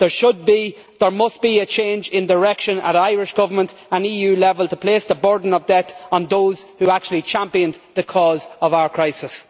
There should and must be a change in direction by the Irish Government and at EU level to place the burden of debt on those who actually championed the cause of our crisis.